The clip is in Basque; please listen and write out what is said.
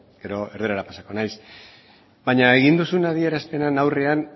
gero erdarara pasako naiz baina egin duzun adierazpenen aurrean